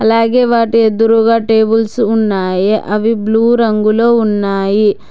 అలాగే వాటి ఎదురుగా టేబుల్స్ ఉన్నాయి అవి బ్లూ రంగులో ఉన్నాయి.